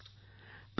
Preeti ji